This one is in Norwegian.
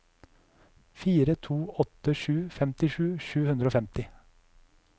fire to åtte sju femtisju sju hundre og femti